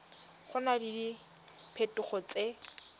go na le diphetogo tse